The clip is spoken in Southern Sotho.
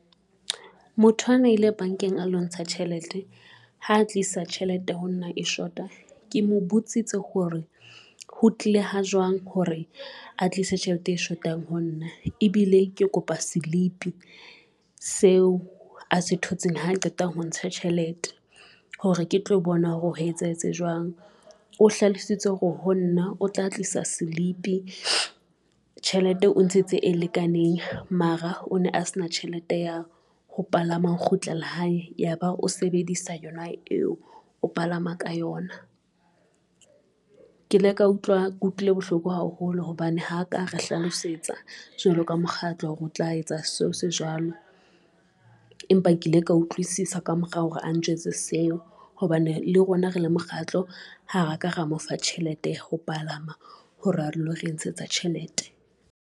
Motho ana ile bankeng a lo ntsha tjhelete ha tlisa tjhelete ho nna e shota. Ke mo botsitse hore ho tlile ha jwang hore a tlise tjhelete e shotang ho nna, ebile ke kopa silipi seo a se thotseng ha qeta ho ntsha tjhelete hore ke tlo bona hore o etsahetse jwang, o hlalositse hore ho nna o tla tlisa silipi tjhelete o ntshitse e lekaneng. Mara o ne a se na tjhelete ya ho palama ho kgutlela hae, ya ba o sebedisa yona eo o palama ka yona. Ke ile ka utlwa ke utlwile bohloko haholo hobane ha ka re hlalosetsa jwalo ka mokgatlo, o tla etsa seo se jwalo, empa ke ile ka utlwisisa ka morao hore a njwetse seo, hobane le rona rele mokgatlo, ha ra ka ra mo fa tjhelete ya ho palama hore a lo re ntshetsa tjhelete.